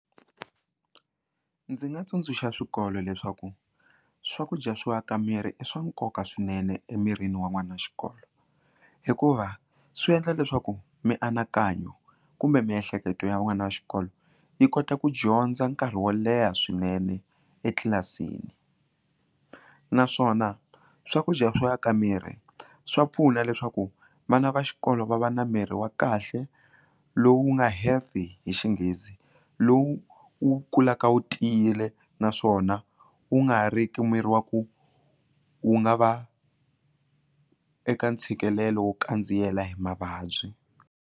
Ndzi nga tsundzuxa swikolo leswaku swakudya swo aka miri i swa nkoka swinene emirini wa n'wana wa xikolo hikuva swi endla leswaku mianakanyo kumbe miehleketo ya n'wana wa xikolo yi kota ku dyondza nkarhi wo leha swinene etlilasini naswona swakudya swo aka miri swa pfuna leswaku vana va xikolo va va na miri wa kahle lowu nga healthy hi xinghezi lowu wu kulaka wu tiyile naswona wu nga riki miri wa ku wu nga va eka ntshikelelo wo kandziyelana hi mavabyi.